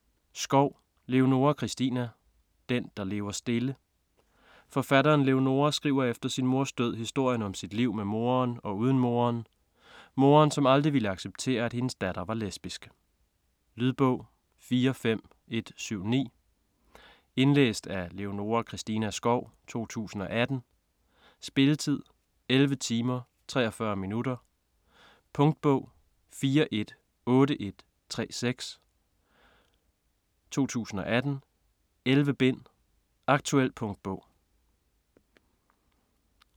Skov, Leonora Christina: Den, der lever stille Forfatteren Leonora skriver efter sin mors død historien om sit liv med moderen og uden moderen. Moderen som aldrig ville acceptere at hendes datter er lesbisk. Lydbog 45179 Indlæst af Leonora Christina Skov, 2018. Spilletid: 11 timer, 43 minutter. Punktbog 418136 2018. 11 bind. Aktuel punktbog